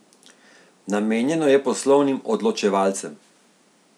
Namenjeno je poslovnim odločevalcem.